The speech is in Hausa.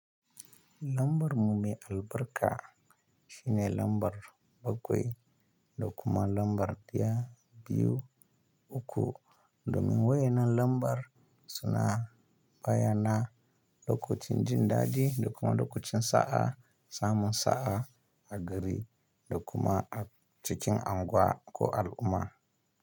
Lambar mu mai albarka shine lambar bakwai, dokuman lambar ɗiya, biyu uku. Domin waye nan lambar suna bayyana lokacin jin daɗi, dokuman lokacin sa'a, samun sa'a a gari, dokuma a cikin unguwa ko al'umma.